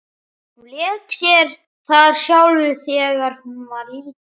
Hún lék sér þar sjálf þegar hún var lítil.